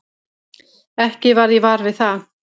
Ekki varð ég var við það.